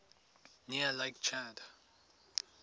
near lake chad